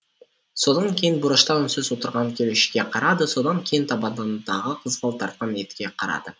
содан кейін бұрышта үнсіз отырған келушіге қарады содан кейін табадандағы қызғылт тартқан етке қарады